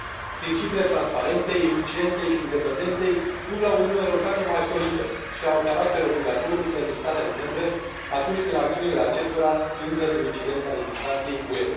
Principiile transparenței, eficienței și independenței duc la o Uniune Europeană mai solidă și au caracter obligatoriu pentru statele membre, atunci când acțiunile acestora intră sub incidența legislației UE.